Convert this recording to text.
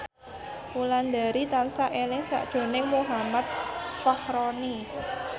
Wulandari tansah eling sakjroning Muhammad Fachroni